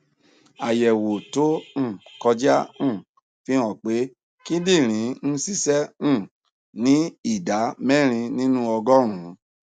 àyẹwò tó um kọjá um fi hàn pé kíndìnrín ń ṣiṣẹ um ní ìdá mẹrin nínú ọgọrùnún